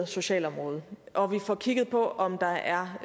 sociale område og at vi får kigget på om der er